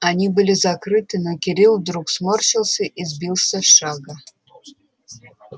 они были закрыты но кирилл вдруг сморщился и сбился с шага